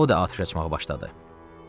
O da atəş açmağa başladı.